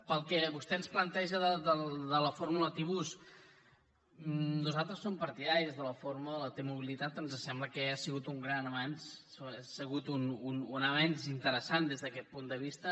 pel que fa al que vostè ens planteja de la fórmula tibus nosaltres som partidaris de la fórmula de la tmobilitat ens sembla que ja ha sigut un gran avenç ha sigut un avenç interessant des d’aquest punt de vista